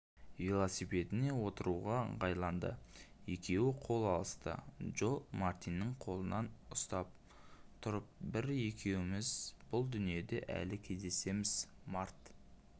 велосипедіне отыруға ыңғайланды екеуі қол алысты джо мартиннің қолынан ұстап тұрып біз екеуіміз бұл дүниеде әлі кездесеміз март